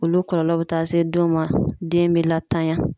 Olu kɔlɔlɔ bɛ taa se denw ma, den be latanya.